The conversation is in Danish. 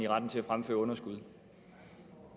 retten til at fremføre underskud